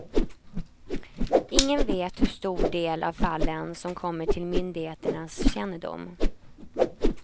Ingen vet hur stor del av fallen som kommer till myndigheternas kännedom.